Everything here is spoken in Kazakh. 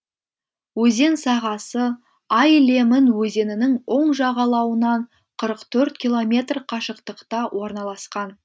өзен сағасы ай лемын өзенінің оң жағалауынан қырық төрт километр қашықтықта орналасқан